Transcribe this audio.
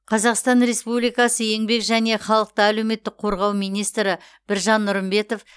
қазақстан республикасы еңбек және халықты әлеуметтік қорғау министрі біржан нұрымбетов